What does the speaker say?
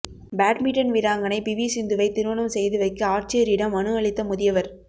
badminton வீராங்கனை PV சிந்துவை திருமணம் செய்து வைக்க ஆட்சியரிடம் மனு அளித்த முதியவர்